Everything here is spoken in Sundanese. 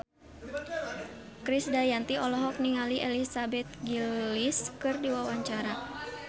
Krisdayanti olohok ningali Elizabeth Gillies keur diwawancara